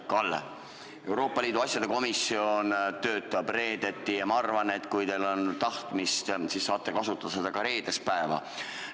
Kalle, Euroopa Liidu asjade komisjon töötab reedeti ja ma arvan, et kui teil on tahtmist, siis te saate kasutada ka reedest päeva.